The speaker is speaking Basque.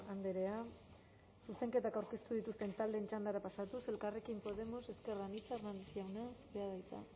andrea zuzenketak aurkeztu dituzten taldeen txandara pasatuz elkarrekin podemos ezker anitza hernández jauna zurea da hitza